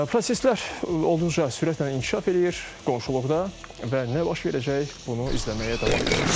Proseslər olduqca sürətlə inkişaf eləyir qonşuluqda və nə baş verəcək, bunu izləməyə davam edirik.